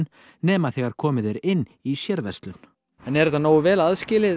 nema þegar komið er inn í sérverslun er þetta nógu vel aðskilið